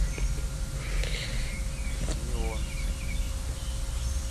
неон